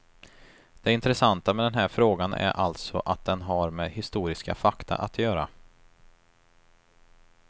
Det intressanta med den här frågan är alltså att den har med historiska fakta att göra.